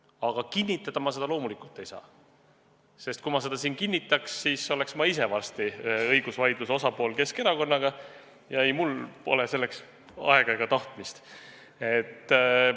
Aga kinnitada ma seda loomulikult ei saa, sest kui ma seda siin kinnitaks, siis oleks ma ise varsti Keskerakonnaga tekkinud õigusvaidluse osapool ja ei mul pole selleks aega ega tahtmist.